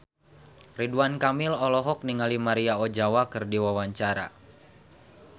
Ridwan Kamil olohok ningali Maria Ozawa keur diwawancara